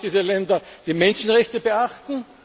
Wir wollen, dass diese Länder die Menschenrechte